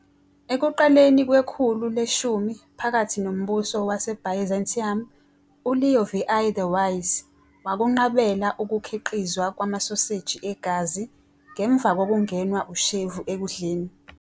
Ekuqaleni kwekhulu le-10 phakathi noMbuso WaseByzantium, uLeo VI the Wise wakunqabela ukukhiqizwa kwamasoseji egazi ngemva kokungenwa ushevu ekudleni.